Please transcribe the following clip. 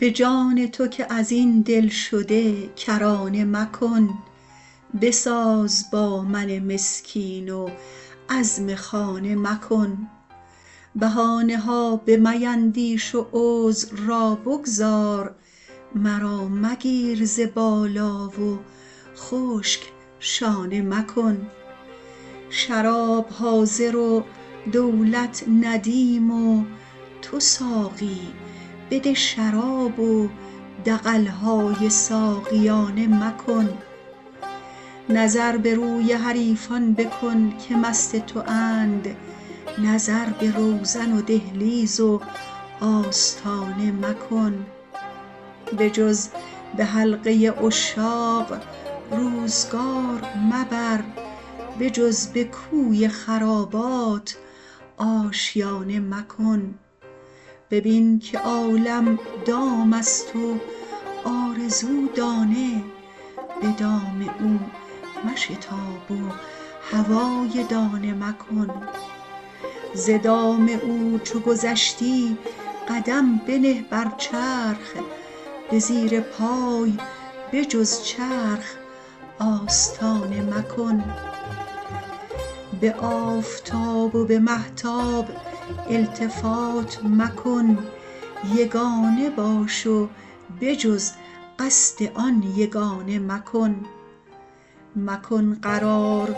به جان تو که از این دلشده کرانه مکن بساز با من مسکین و عزم خانه مکن بهانه ها بمیندیش و عذر را بگذار مرا مگیر ز بالا و خشک شانه مکن شراب حاضر و دولت ندیم و تو ساقی بده شراب و دغل های ساقیانه مکن نظر به روی حریفان بکن که مست تواند نظر به روزن و دهلیز و آستانه مکن بجز به حلقه عشاق روزگار مبر بجز به کوی خرابات آشیانه مکن ببین که عالم دام است و آرزو دانه به دام او مشتاب و هوای دانه مکن ز دام او چو گذشتی قدم بنه بر چرخ به زیر پای به جز چرخ آستانه مکن به آفتاب و به مهتاب التفات مکن یگانه باش و به جز قصد آن یگانه مکن مکن قرار